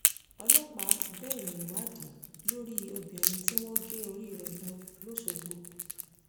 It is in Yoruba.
ọlọ́pàá bẹ̀rẹ̀ ìwádìí lórí obìnrin tí wọ́n gé orí rẹ̀ lọ lọ́sọ̀gbò